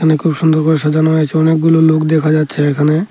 এখানে খুব সুন্দর করে সাজানো হয়েছে অনেকগুলো লোক দেখা যাচ্ছে এখানে।